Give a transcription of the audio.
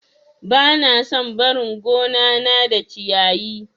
Bana son barin gonana da ciyayi.